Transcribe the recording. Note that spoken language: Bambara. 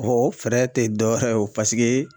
o fɛɛrɛ tɛ dɔ wɛrɛ ye o ,paseke